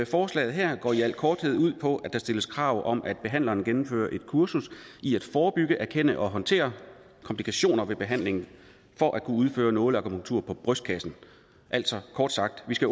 forslaget her går i al korthed ud på at der stilles krav om at behandleren gennemfører et kursus i at forebygge erkende og håndtere komplikationer ved behandling for at kunne udføre nåleakupunktur på brystkassen altså kort sagt skal